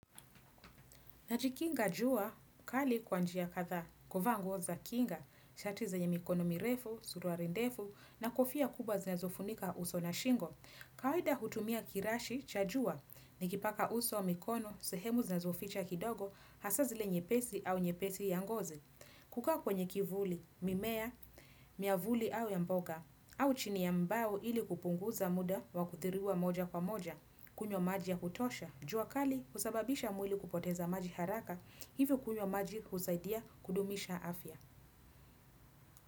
Najikikinga jua kali kwa njia kadhaa. Kuvaa nguo za kinga, shati zenye mikono mirefu, suruali ndefu na kofia kubwa zinazofunika uso na shingo. Kawaida hutumia kirashi, cha jua, nikipaka uso, mikono, sehemu zinazoficha kidogo, hasa zile nyepesi au nyepesi ya ngozi. Kukaa kwenye kivuli, mimea, miavuli au ya mboga, au chini ya mbao ili kupunguza muda wa kuthiriwa moja kwa moja, kunywa maji ya kutosha. Jua kali husababisha mwili kupoteza maji haraka hivyo kunywa maji husaidia kudumisha afya.